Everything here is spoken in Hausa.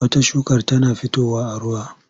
Wata shukar tana fitowa a ruwa.